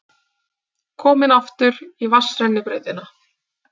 Komin aftur í vatnsrennibrautina.